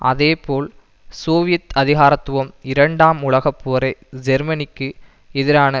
அதே போல் சோவியத் அதிகாரத்துவம் இரண்டாம் உலக போரை ஜேர்மனிக்கு எதிரான